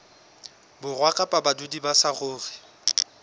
borwa kapa badudi ba saruri